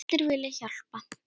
Allir vilja hjálpa.